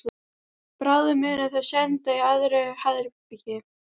Bráðum munu þau synda í öðru herbergi.